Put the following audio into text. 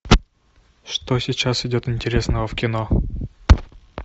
что сейчас идет интересного в кино